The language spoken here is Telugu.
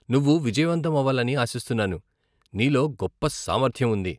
నువ్వు విజయవంతం అవ్వాలని ఆశిస్తున్నాను, నీలో గొప్ప సామర్థ్యం ఉంది.